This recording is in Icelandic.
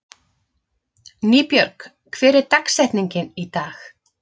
Nýbjörg, hver er dagsetningin í dag?